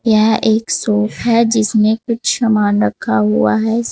यह एक शॉप है जिसमें कुछ सामान रखा हुआ है।